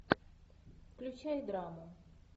включай драму